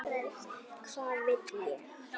Hvað vil ég?